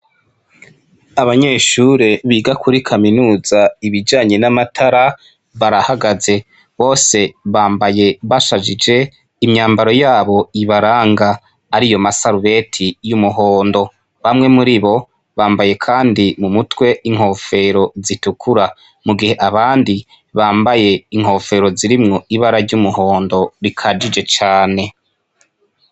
Abanyeshure biga kuri kaminuza ibijanye n’amatara barahagaze, bose bambaye bashajije imyambaro yabo ibaranga ariyo masarubeti y’umuhondo. Bamwe muri bo bambaye kandi mu mutwe inkofero zitukura mu gihe abandi bambaye inkofero zirimwo ibara ry’umuhondo rikajije cane.